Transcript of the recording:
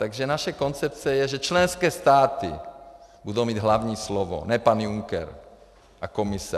Takže naše koncepce je, že členské státy budou mít hlavní slovo, ne pan Juncker a Komise.